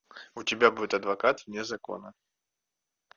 у тебя будет адвокат вне закона